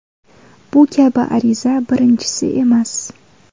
Bu kabi ariza birinchisi emas.